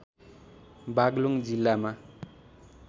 बागलुङ जिल्लामा